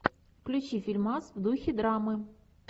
включи фильмас в духе драмы